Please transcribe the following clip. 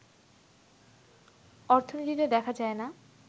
অর্থনীতিতে দেখা যায় না